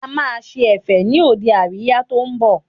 A máa ṣe Ẹ̀fẹ̀ ni òde àríyá tó ń bọ̀